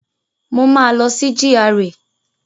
Mo máa lọ sí GRA